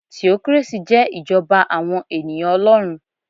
Theocracy jẹ́ ìjọba àwọn ènìyàn Olórun